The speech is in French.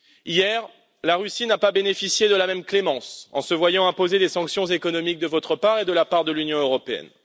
Hier, la Russie n'a pas bénéficié de la même clémence, puisqu'elle s'est vu imposer des sanctions économiques de votre part et de la part de l'Union européenne.